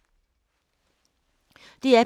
DR P2